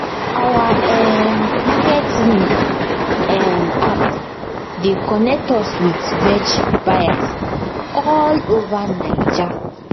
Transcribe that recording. our um market link um app dey connect us with veg buyers all over naija